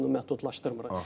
Biz bunu məhdudlaşdırmırıq.